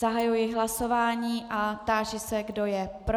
Zahajuji hlasování a táži se, kdo je pro.